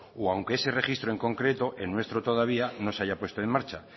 o aunque ese registro en concreto el nuestro todavía no se haya puesto en marcha